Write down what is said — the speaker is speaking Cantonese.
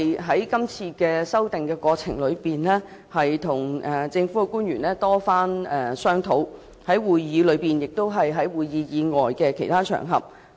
在今次的修訂過程中，我與政府曾多番商討，包括在會議上及會議外的其他場合。